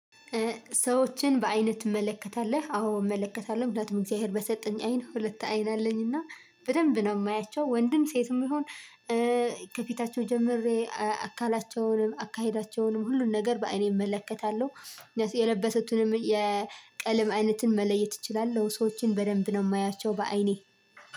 ሰዎችን በአይን ትመለከታለህ? አዎ እመለከታለሁ ምክንያቱም እግዚአብሔር በሰጠኝ አይን ሁለት አይን አለኝና በደንብ ነው የማያቸው ወንድም ሴትም ይሁን ከፊታቸው ጀምሬ አካላቸውንም አካሄዳቸውንም ሁሉን ነገር በአይኔ እመለከታለሁ የለበሰቱንም የቀለም አይነትን መለየት እችላለሁ ሰዎችን በደንብ ነው ማያቸው በአይኔ